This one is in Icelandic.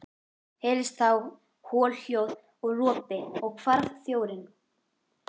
Heyrðist þá holhljóð og ropi og hvarf þjórinn.